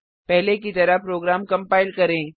पहले की तरह प्रोग्राम कंपाइल करें